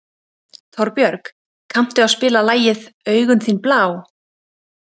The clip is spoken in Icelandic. Torbjörg, kanntu að spila lagið „Augun þín blá“?